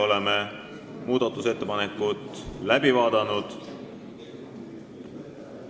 Oleme muudatusettepanekud läbi vaadanud.